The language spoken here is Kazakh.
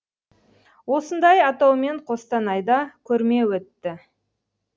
осындай атаумен қостанайда көрме өтті